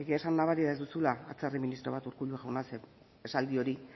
egia esan nabari da ez duzula atzerri ministro bat urkullu jauna zeren esaldi hori